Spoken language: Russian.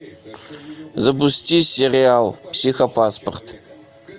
запусти сериал психопаспорт